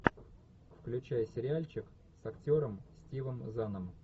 включай сериальчик с актером стивом заном